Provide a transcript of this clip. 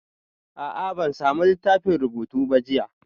A'a, ban sami littafin rubutu ba jiya